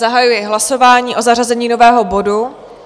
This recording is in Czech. Zahajuji hlasování o zařazení nového bodu.